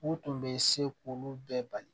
U tun bɛ se k'olu bɛɛ bali